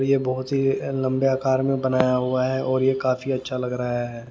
ये बहोत ही लंबे आकार में बनाया हुआ है और ये काफी अच्छा लग रहा है।